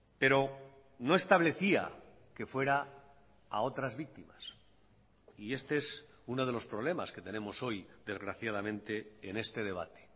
pero no establecía que fuera a otras víctimas y este es uno de los problemas que tenemos hoy desgraciadamente en este debate